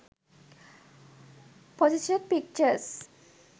position pictures